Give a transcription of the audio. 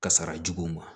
Kasara juguw ma